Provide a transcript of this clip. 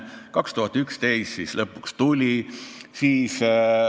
2011 ta siis lõpuks tuli.